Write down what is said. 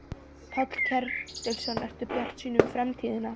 Páll Ketilsson: Ertu bjartsýnn um framtíðina?